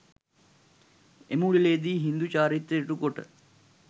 එම උලෙළේ දී හින්දු චාරිත්‍ර ඉටු කොට